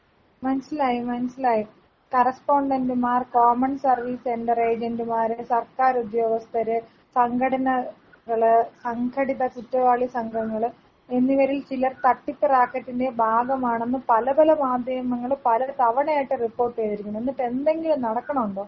മൻസ്സിലായി മൻസ്സിലായി കറെസ്പോണ്ടെന്റുമാർ, government service render ഏജെന്റുമാർ, സർക്കാരുദ്യോഗസ്ഥര്, സംഘടനകള്, സംഘടിത കുറ്റവാളി സംഘങ്ങള് എന്നിവരിൽ ചിലർ തട്ടിപ്പ് റാക്കറ്റിന്റെ ഭാഗമാണെന്ന് പല പല മാധ്യമങ്ങളും പല തവണയായിട്ട് റിപ്പോർട്ടിയിരിക്കുണു എന്നിട്ട് എന്തെങ്കിലും നടക്കൊണണ്ടോ.